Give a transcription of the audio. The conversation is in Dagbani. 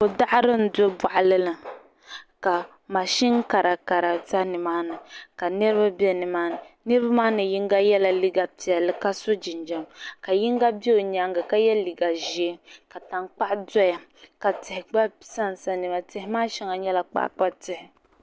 Ko daɣiri m-be bɔɣilini ka mazin kara. kara za nimaani. kanirib. bɛ. nimaani. nirba maa. maani. yiŋg liiga. piɛli ka. so jinjam. ka. yiŋa. bɛ onyaaŋ. ka ye. liiga. zɛɛ. ka. tankpaɣu. doya. ka tihi. gba. sansani. maani. tihi maa. shaŋa. nyela. kpakpa tihi